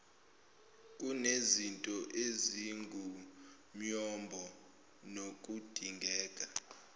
kunezinto ezingumyombo nokudingeka